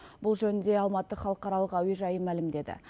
бұл жөнінде алматы халықаралық әуежайы мәлімдеді